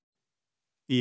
í